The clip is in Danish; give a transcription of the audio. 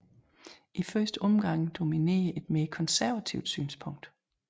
I første omgang dominerede et mere konservativt synspunkt